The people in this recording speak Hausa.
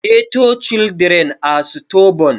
Ghetto children are stubborn